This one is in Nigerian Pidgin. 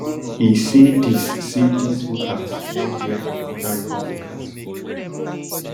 e say dis say dis voters wan hear from oda republicans